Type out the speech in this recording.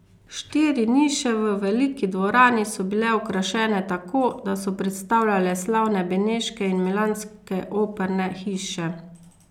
Štiri niše v veliki dvorani so bile okrašene tako, da so predstavljale slavne beneške in milanske operne hiše.